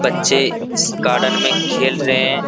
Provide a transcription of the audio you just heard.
बच्चे इस गार्डन में खेल रहे हैं |